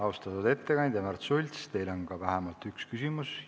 Austatud ettekandja Märts Sults, teile on vähemalt üks küsimus.